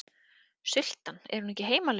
Sultan, er hún ekki heimalöguð?